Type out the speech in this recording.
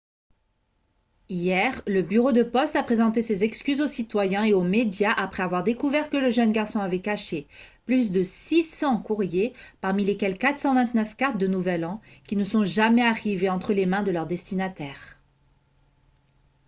hier le bureau de poste a présenté ses excuses aux citoyens et aux médias après avoir découvert que le jeune garçon avait caché plus de 600 courriers parmi lesquels 429 cartes de nouvel an qui ne sont jamais arrivées entre les mains de leur destinataire